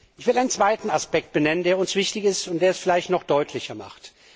Ich will einen zweiten Aspekt benennen, der uns wichtig ist und der das vielleicht noch deutlicher macht.